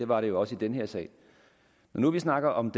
var det også i den her sag når nu vi snakker om